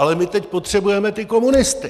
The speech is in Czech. Ale my teď potřebujeme ty komunisty...